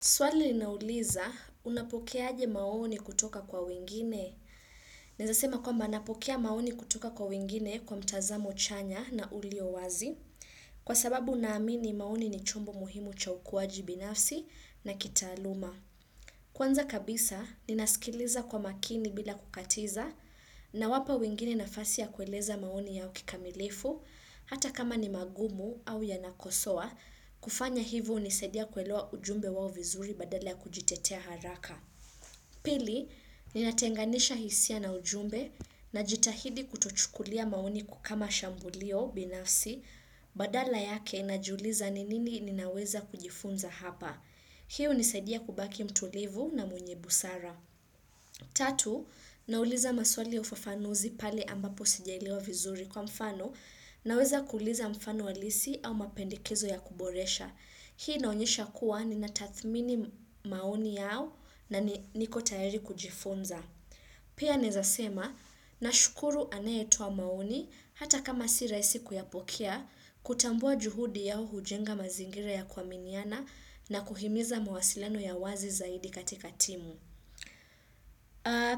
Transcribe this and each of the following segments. Swali linauliza, unapokea aje maoni kutoka kwa wengine? Naeza sema kwamba napokea maoni kutoka kwa wengine kwa mtazamo chanya na ulio wazi kwa sababu naamini maoni ni chumbo muhimu cha ukuwaji binafsi na kitaaluma. Kwanza kabisa, ninasikiliza kwa makini bila kukatiza nawapa wengine nafasi ya kueleza maoni yao kikamilifu hata kama ni magumu au yanakosoa kufanya hivo hunisadia kuelewa ujumbe wao vizuri badala ya kujitetea haraka. Pili, linatenganisha hisia na ujumbe najitahidi kutochukulia maoni kama shambulio binafsi badala yake najiuliza ni nini ninaweza kujifunza hapa. Hii hunisadia kubaki mtulivu na mwenye busara. Tatu, nauliza maswali ya fafanuzi pale ambapo sijaelewa vizuri kwa mfano naweza kuuliza mfano halisi au mapendekezo ya kuboresha. Hii inaonyesha kuwa ni natathmini maoni yao na niko tayari kujifunza. Pia naezasema nashukuru anayetoa maoni hata kama si rahisi kuyapokea, kutambua juhudi yao hujenga mazingira ya kuaminiana na kuhimiza mawasilano ya wazi zaidi katika timu.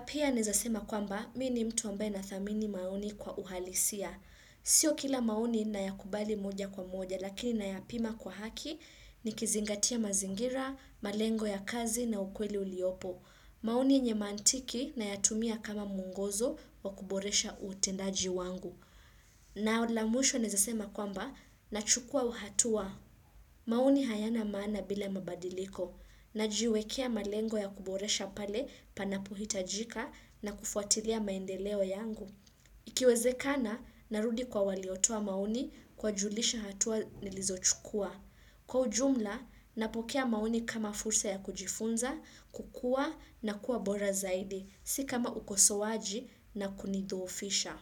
Pia naezasema kwamba, mi ni mtu ambaye nathamini maoni kwa uhalisia. Sio kila maoni nayakubali moja kwa moja, lakini nayapima kwa haki nikizingatia mazingira, malengo ya kazi na ukweli uliopo. Maoni nye mantiki nayatumia kama muongozo wa kuboresha utendaji wangu. Na la mwisho naezasema kwamba, nachukua uhatua. Maoni hayana maana bila mabadiliko. Na jiwekea malengo ya kuboresha pale panapohitajika na kufuatilia maendeleo yangu. Ikiwezekana, narudi kwa waliotoa maoni kuwajulisha hatua nilizochukua. Kwa ujumla, napokea maoni kama fursa ya kujifunza, kukua na kuwa bora zaidi, si kama ukosowaji na kunidhoofisha.